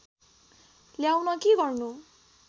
ल्याउन के गर्नु